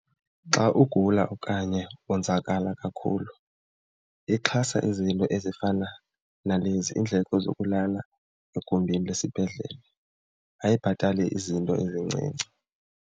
Xa ugula okanye wonzakala kakhulu ixhasa izinto ezifana nalezi, iindleko zokulala egumbini lesibhedlele. Ayibhatali izinto ezincinci.